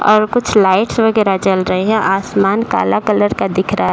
और कुछ लाइट्स वगैरह जल रही है आसमान काला कलर का दिख रहा है।